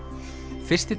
fyrsti